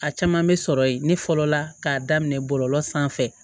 A caman bɛ sɔrɔ yen ne fɔlɔ la k'a daminɛ bɔlɔlɔ sanfɛ